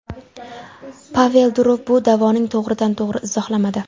Pavel Durov bu da’voni to‘g‘ridan to‘g‘ri izohlamadi.